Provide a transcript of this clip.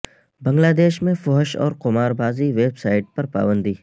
بنگلہ دیش میں فحش اور قماربازی ویب سائٹ پر پابندی